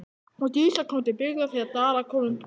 Og Dísa kom til byggða þegar Dalakofinn brann.